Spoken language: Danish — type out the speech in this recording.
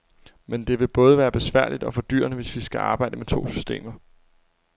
Men det vil både være besværligt og fordyrende, hvis vi skal arbejde med to systemer.